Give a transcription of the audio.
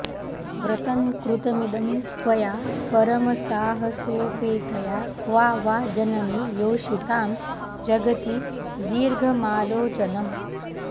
व्रतं कृतमिदं त्वया परमसाहसोपेतया क्वा वा जननि योषितां जगति दीर्घमालोचनम्